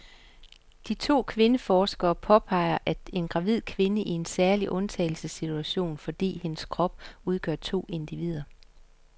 De to kvindeforskere påpeger, at en gravid kvinde er i en særlig undtagelsessituation, fordi hendes krop udgør to individer.